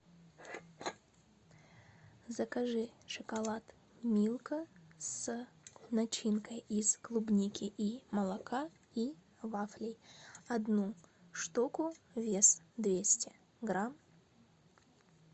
закажи шоколад милка с начинкой из клубники и молока и вафлей одну штуку вес двести грамм